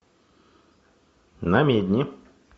намедни